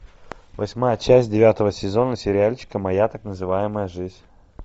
восьмая часть девятого сезона сериальчика моя так называемая жизнь